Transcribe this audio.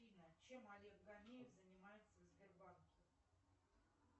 афина чем олег гордеев занимается в сбербанке